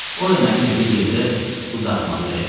O da mənimlə bir yerdə bu daxmada yaşayacaq.